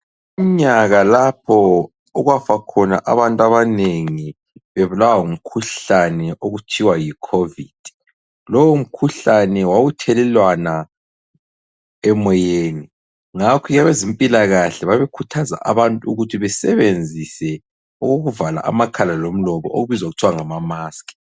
Umnyaka lapho okwafa khona abantu abanengi bebulawa ngumkhuhlane okuthiwa yi khovid nayintini. Lowo mkhuhlani wawuthelelwana emoyeni, ngakho abezempilakahle babekhuthaza ukuthi abantu besebenzise okokuvala amakhala lomlomo okubizwa kuthiwa ngamamaskhi.